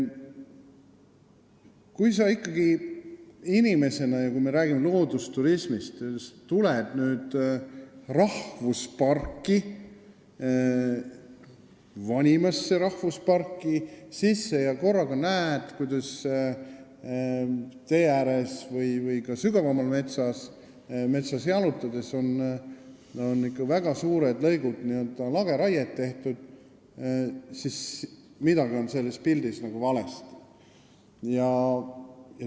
Kui inimesed – ma räägin nüüd loodusturismist – tulevad rahvusparki, meie vanimasse rahvusparki, ja korraga näevad, kuidas tee ääres või ka sügavamal metsas on ikka väga suurtel lõikudel lageraiet tehtud, siis on midagi sellel pildil valesti.